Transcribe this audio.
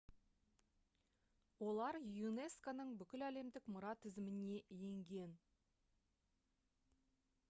олар юнеско-ның бүкіләлемдік мұра тізіміне енген